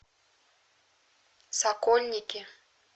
сокольники